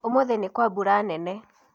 ũmũthĩ nĩkwa mbura nene